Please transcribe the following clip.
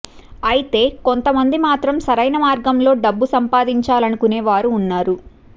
అయితే కొంత మంది మాత్రం సరైన మార్గంలో డబ్బు సంపాధించాలానుకునే వారు ఉన్నారు